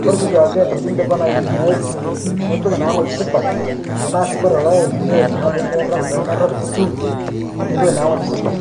Kore sii duake atoki idipa aitumiyai nipik naa ng'oji supat, tanaa sii kore loeli niel naa pemerap pemerap kutu nipik naa ng'oji supat.